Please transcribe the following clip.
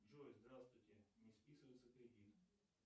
джой здравствуйте не списывается кредит